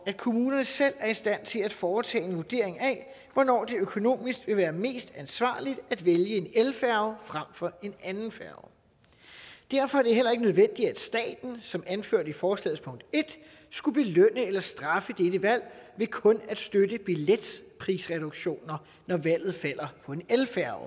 at kommunerne selv er i stand til at foretage en vurdering af hvornår det økonomisk vil være mest ansvarligt at vælge en elfærge frem for en anden færge derfor er det heller ikke nødvendigt at staten som anført i forslagets punkt en skulle belønne eller straffe dette valg ved kun at støtte billetprisreduktioner når valget falder på en elfærge